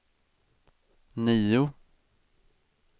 nio